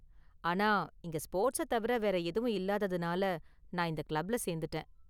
ஆனா, இங்க ஸ்போர்ட்ஸை தவிர வேற எதுவும் இல்லாததுனால நான் இந்த கிளப்ல சேர்ந்துட்டேன்.